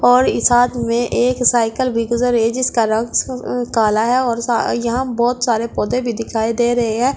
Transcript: और इस हाथ में एक साइकिल भी गुजर रही है जिसका रंग काला है और यहाँ बहौत सारे पौधे भी दिखाई भी दे रहे हैं।